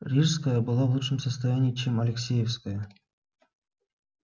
рижская была в лучшем состоянии чем алексеевская